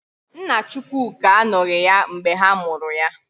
Nna Chukwuka anọghị ya mgbe ha mụrụ ya.